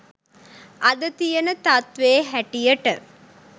අද තියන තත්වේ හැටියට